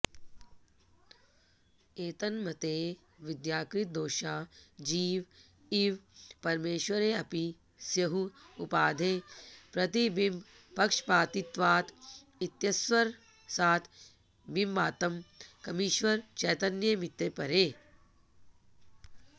एतन्मतेऽविद्याकृतदोषा जीव इव परमेश्वरेऽपि स्युः उपाधेः प्रतिबिम्बपक्षपातित्वात् इत्यस्वरसात् बिम्बात्मकमीश्वरचैतन्यमित्यपरे